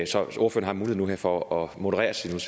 så ordføreren har nu muligheden her for at moderere sine